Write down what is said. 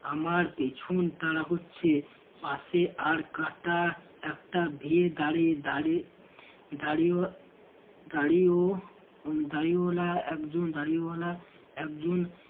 আমার পেছন তাড়া করছে পাশে আর কাটা একটা ভীড় দাঁড়িয়ে দাঁড়িয়ে দাঁড়িয়েও দাঁড়িয়েও দড়িওয়ালা একজন দড়িওয়ালা একজন